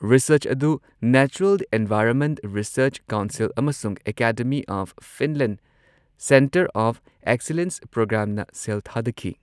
Research ꯑꯗꯨ natural environment research council ꯑꯃꯁꯨꯡ academy of Finland centre of excellence ꯄ꯭ꯔꯣꯒ꯭ꯔꯥꯝꯅ ꯁꯦꯜ ꯊꯥꯗꯈꯤ꯫